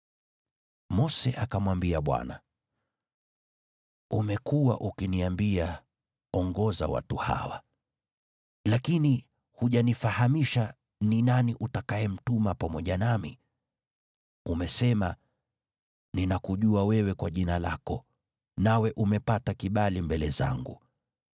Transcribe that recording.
Mose akamwambia Bwana , “Umekuwa ukiniambia, ‘Ongoza watu hawa,’ lakini hujanifahamisha ni nani utakayemtuma pamoja nami. Umesema, ‘Ninakujua wewe kwa jina lako, nawe umepata kibali mbele zangu.’